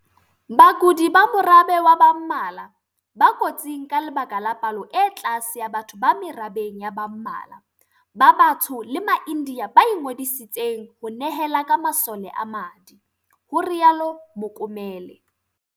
"Bakudi ba morabe wa ba mmala, ba kotsing ka lebaka la palo e tlase ya batho ba merabeng ya ba mmala, ba batsho le ma-India ba ingodiseditseng ho nehela ka masole a madi," ho rialo Mokomele.